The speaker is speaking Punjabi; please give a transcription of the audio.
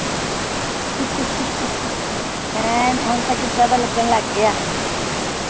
ਐਨ ਹੁਣ ਤਾ ਕਿਦਾਂ ਦਾ ਲਗਨ ਲੱਗ ਗਿਆ